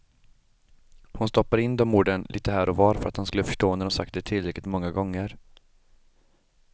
Hon stoppade in de orden lite här och var för att han skulle förstå när hon sagt det tillräckligt många gånger.